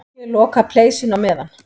Ég loka pleisinu á meðan.